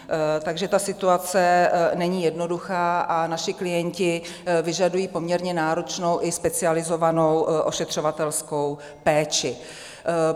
Takže ta situace není jednoduchá a naši klienti vyžadují poměrně náročnou i specializovanou ošetřovatelskou péči.